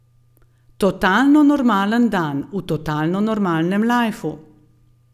Totalno normalen dan v totalno normalnem lajfu.